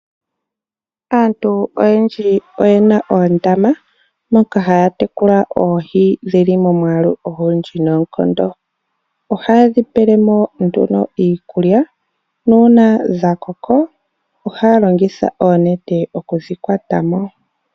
Aantu oyendji oyena oondama moka haya tekula oohi dhili momwalu ogundji nonkondo. Ohaye dhi pelemo nduno iikulya, nuna dhakoka ohaya longitha onete okudhi kwatamo.